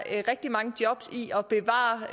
rigtig mange jobs i at bevare